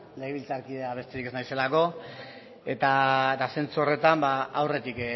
legebiltzarkidea besterik ez naizelako eta zentzu horretan ba aurretik